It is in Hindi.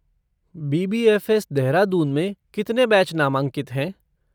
बी.बी.एफ़.एस. देहरादून में कितने बैच नामांकित हैं?